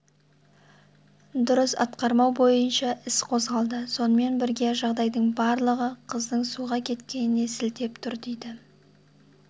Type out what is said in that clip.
дұрыс атқармау бойынша іс қозғалды сонымен бірге жағдайдың барлығы қыздың суға кеткеніне сілтеп тұр дейді